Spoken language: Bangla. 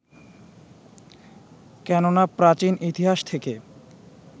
কেননা প্রাচীন ইতিহাস থেকে